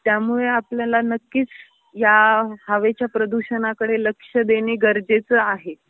त्यामुळे आपल्नयाला नक्कीच या हवेच्या प्रदूषणाकडे लक्ष देन गरजेच आहे.